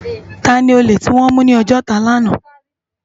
Tàni ólé tiwòn mú ni Ojota làná?